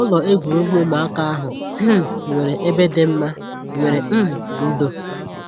Ụlọ egwuregwu ụmụaka ahụ um nwere ebe dị mma nwere um ndo